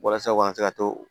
Walasa u ka se ka to